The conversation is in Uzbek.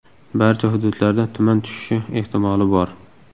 Barcha hududlarda tuman tushishi ehtimoli bor.